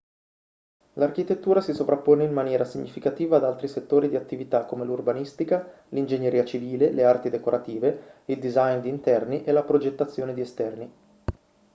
l'architettura si sovrappone in maniera significativa ad altri settori di attività come l'urbanistica l'ingegneria civile le arti decorative il design di interni e la progettazione di esterni